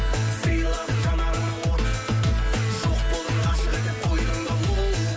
сыйладың жанарыма от жоқ болдың ғашық етіп қойдың да оу